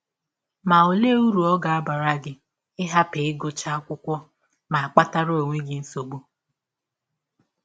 Ma, ọlee ụrụ ọ ga - abara gị ịhapụ ịgụcha akwụkwọ ma kpatara ọnwe gị nsọgbụ?